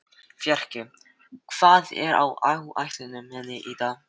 Fjarki, hvað er á áætluninni minni í dag?